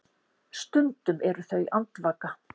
Stundum eru þau andvaka.